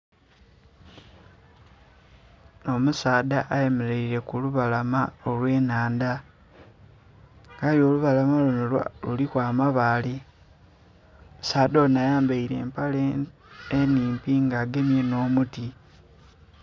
Omusaadha ayemeleire ku lubalama olw'ennhandha, aye olubalama luno luliku amabaale. Omusaadha onho ayambaile empale enhimpi nga agemye n'omuti.